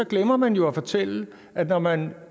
glemmer man jo at fortælle at når man